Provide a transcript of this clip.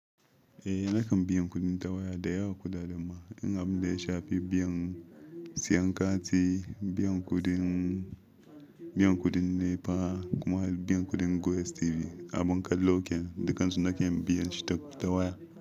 Eh, nakan biyan kuɗin ta waya da yawa Kuɗaɗen ma in abin da ya shafi biyan siyan kati, biyan kuɗin, biyan kuɗin NEPA kuma biyan kuɗin GoTV abin kallo kenan dukansu nabkan biyan shi ta waya.